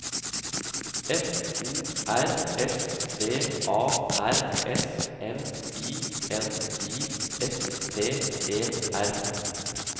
F O R S V A R S M I N I S T E R